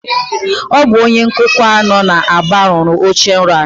Ọ bụ onye nkụkwa a nọ n'Aba rụrụ ochenrọ a